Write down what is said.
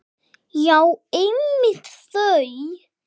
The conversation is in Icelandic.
Já, einmitt þau!